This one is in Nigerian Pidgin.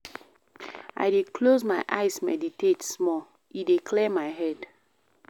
I dey close my eyes meditate small, e dey clear my head.